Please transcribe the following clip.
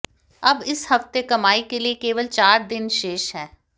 अब इस हफ्ते कमाई के लिए केवल चार दिन शेष हैं